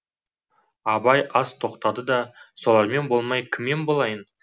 абай аз тоқтады да солармен болмай кіммен болайын